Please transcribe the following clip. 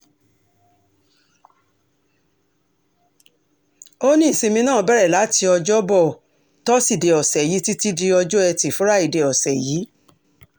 ó ní ìsinmi náà bẹ̀rẹ̀ láti ọjọ́bọ̀ toside ọ̀sẹ̀ yìí títí di ọjọ́ etí furuufee ọ̀sẹ̀ yìí